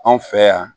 Anw fɛ yan